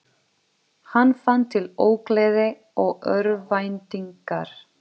Hann fann til ógleði og örvæntingar.